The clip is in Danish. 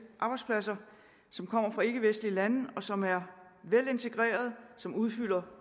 arbejdspladser som kommer fra ikkevestlige lande som er velintegrerede som udfører